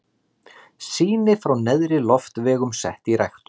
Sýni frá neðri loftvegum sett í ræktun.